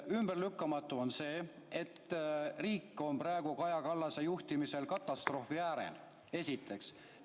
Ümberlükkamatu on see, et riik on praegu Kaja Kallase juhtimisel katastroofi äärel, esiteks.